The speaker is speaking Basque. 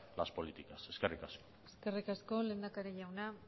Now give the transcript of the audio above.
las políticas eskerrik asko eskerrik asko lehendakari jauna